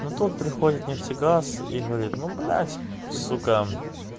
но тот приходит нефтегаз и говорит ну блядь сука